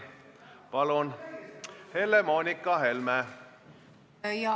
Palun, Helle-Moonika Helme!